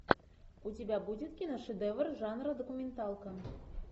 у тебя будет киношедевр жанра документалка